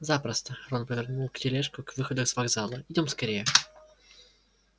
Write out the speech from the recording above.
запросто рон повернул тележку к выходу с вокзала идём скорее